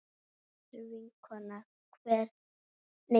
Kær vinkona hefur kvatt okkur.